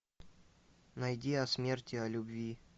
найди о смерти о любви